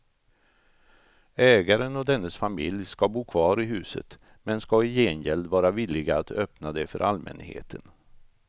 Ägaren och dennes familj ska bo kvar i huset men ska i gengäld vara villiga att öppna det för allmänheten.